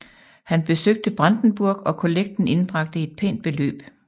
Han besøgte Brandenburg og kollekten indbragte et pænt beløb